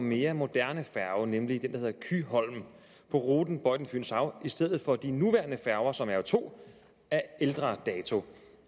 mere moderne færge nemlig den der hedder kyholm på ruten bøjden fynshav i stedet for de nuværende færger som er to af ældre dato